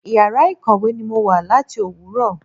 Ìyàrá ìkọ̀wé ni mo wà láti Òwúrọ̀.